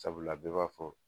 Sabula bɛ b'a fɔ